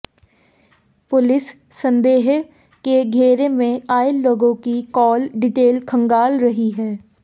police संदेह के घेरे में आए लोगों की कॉल डिटेल खंगाल रही है